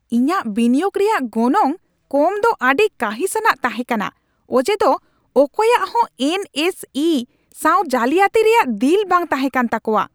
ᱤᱧᱟᱜ ᱵᱤᱱᱤᱭᱳᱜᱽ ᱨᱮᱭᱟᱜ ᱜᱚᱱᱚᱝ ᱠᱚᱢ ᱫᱚ ᱟᱹᱰᱤ ᱠᱟᱺᱦᱤᱥᱼᱟᱱᱟᱜ ᱛᱟᱦᱮᱸ ᱠᱟᱱᱟ ᱚᱡᱮ ᱫᱚ ᱚᱠᱚᱭᱼᱟᱜ ᱦᱚᱸ ᱮᱱ ᱮᱥ ᱤ ᱥᱟᱶ ᱡᱟᱞᱤᱭᱟᱛᱤ ᱨᱮᱭᱟᱜ ᱫᱤᱞ ᱵᱟᱝ ᱛᱟᱦᱮᱸ ᱠᱟᱱ ᱛᱟᱠᱚᱣᱟ ᱾